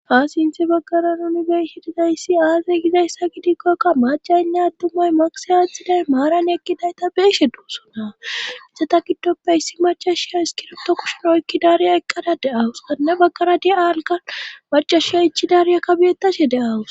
Ha sinthi baggara nunibeeshe dizayssi aazey gizayssa gidikkokka macaynne attumay magise aattxiday maaran eqqidayta beeshe duusona isata giddoppe issi machashiya iskiroto kushinoykki daariya eqqada de7awus gadana baggara di7aalgan machashiya ichi daariyaka bettashe de'awus.